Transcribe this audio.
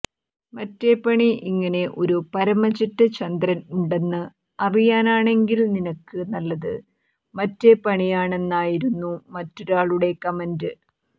മറ്റേ പണി ഇങ്ങനെ ഒരു പരമ ചെറ്റ ചന്ദ്രൻ ഉണ്ടെന്ന് അറിയാനാണെങ്കിൽ നിനക്ക് നല്ലത് മറ്റേ പണിയാണെന്നായിരുന്നു മറ്റൊരാളുടെ കമന്റ്